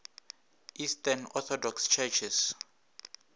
eastern orthodox churches